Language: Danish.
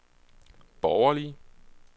borgerlige